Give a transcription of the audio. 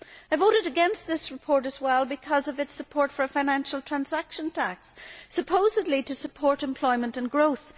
I voted against this report also because of its support for a Financial Transaction Tax, supposedly to support employment and growth.